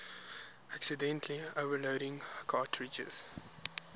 accidentally overloading cartridges